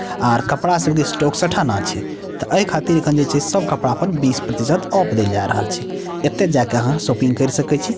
आर कपड़ा सब के स्टॉक सठाएना छै ते ए खातिर अखन जे छै सब कपड़ा पर बीस प्रतिशत ऑफ देएल जाय रहल छै एता जाय के आहां शॉपिंग केर सके छी।